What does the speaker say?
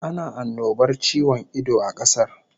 Ana annobar ciwon ido a kasar